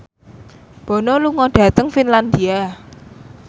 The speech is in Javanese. Bono lunga dhateng Finlandia